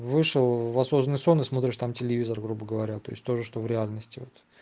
вышел в осознанный сон и смотришь там телевизор грубо говоря то есть тоже что в реальности вот